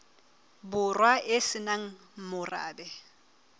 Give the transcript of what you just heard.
borwa e se nang morabe